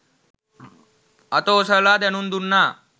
අත ඔසවලා දැනුම් දුන්නා